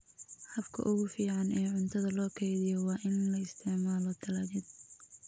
Habka ugu fiican ee cuntada loo kaydiyo waa in la isticmaalo talaajad.